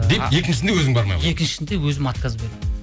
деп екіншісінде өзің бармай қойдың екіншісінде өзім отказ бердім